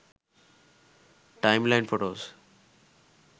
time line photos